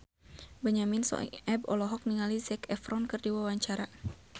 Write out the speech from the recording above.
Benyamin Sueb olohok ningali Zac Efron keur diwawancara